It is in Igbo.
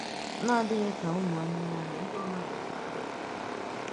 N’àdịghị ka ụmụ anụmanụ, ndị mmádụ na-àhụ